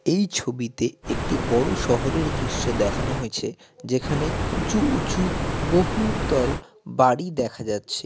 এই ছবিতে একটি বড় শহরের দৃশ্য দেখানো হয়েছে যেখানে উঁচু উচু উঁচু বহুতল বাড়ি দেখা যাচ্ছে।